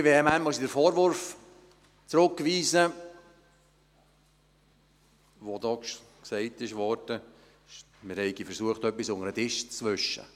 Ziemlich vehement muss ich den Vorwurf zurückweisen, der hier gemacht wurde, wir hätten versucht, etwas unter den Tisch zu wischen.